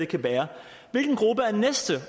kan være hvilken gruppe er den næste